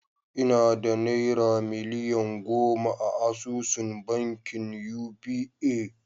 Ina da naira miliyan goma a asusun bankin Uba